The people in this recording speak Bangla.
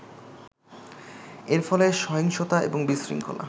এর ফলে সহিংসতা এবং বিশৃঙ্খলা